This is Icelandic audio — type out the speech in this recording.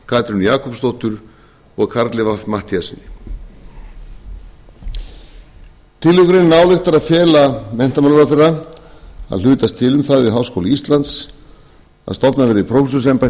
guðjóni a kristjánssyni katrínu jakobsdóttur og karli fimmta matthíassyni tillögugreinin ályktar að fela menntamálaráðherra að hlutast til um það við háskóla íslands að stofnað verði prófessorsembætti kennt